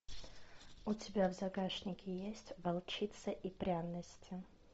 у тебя в загашнике есть волчица и пряности